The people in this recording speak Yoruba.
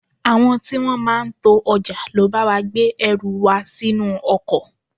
Àwọn tí wọn máa ń to ọjà ló bá wa gbé ẹrù wa sínú ọkọ̀.